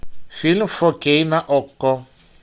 фильм фор кей на окко